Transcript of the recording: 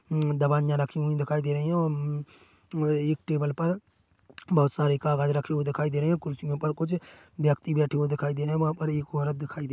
उम दवाइयाँ रखी हुई दिखाई दे रही है औ अमम और एक टेबल पर बहोत सारे कागज रखे हुए दिखाई दे रहे है कुर्सियों पर कुछ व्यक्ति बैठे हुए दिखाई दे रहे है वहाँ पर एक औरत दिखाई दे --